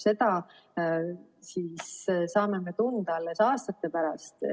Seda saame me tunda alles aastate pärast.